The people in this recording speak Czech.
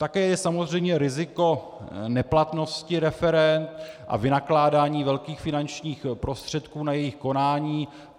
Také je samozřejmě riziko neplatnosti referend a vynakládání velkých finančních prostředků na jejich konání.